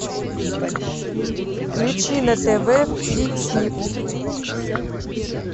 включи на тв флик снип